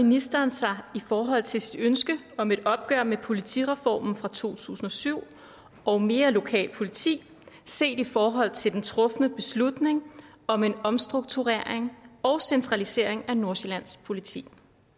ministeren sig i forhold til sit ønske om et opgør med politireformen fra to tusind og syv og mere lokalt politi set i forhold til den trufne beslutning om en omstrukturering og centralisering af nordsjællands politi